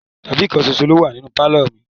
Tábìlì kan ṣoṣo ló wà nínú pálọ̀ mi.